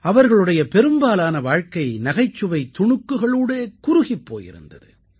அவர்களுடைய பெரும்பாலான வாழ்க்கை நகைச்சுவைத் துணுக்குகளோடே குறுகிப் போயிருந்தது